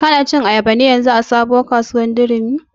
Ka na cin ayaba ne yanzun a durumi modern market?